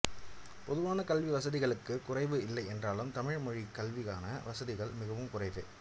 பொதுவான கல்வி வசதிகளுக்குக் குறைவு இல்லை என்றாலும் தமிழ் மொழிக் கல்விக்கான வசதிகள் மிகவும் குறைவே